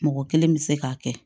Mɔgɔ kelen bɛ se k'a kɛ